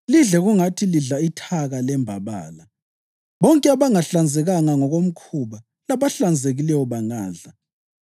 Lidle kungathi lidla ithaka lembabala. Bonke abangahlanzekanga ngokomkhuba labahlanzekileyo bangadla.